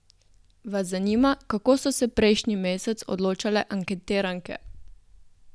Vas zanima, kako so se prejšnji mesec odločale anketiranke?